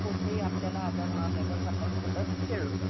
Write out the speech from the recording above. कुठेही आपल्याला आजार होणार नाही जर आपण सतत खेळलो तर